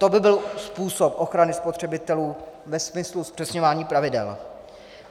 To by byl způsob ochrany spotřebitelů ve smyslu zpřesňování pravidel.